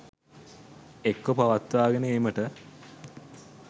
එක්ව පවත්වාගෙන ඒමට